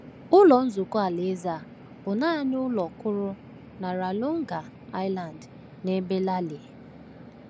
Ụlọ Nzukọ Alaeze a bụ naanị ụlọ kwụrụ na Ranongga Island n’ebe Lale.